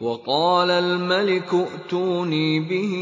وَقَالَ الْمَلِكُ ائْتُونِي بِهِ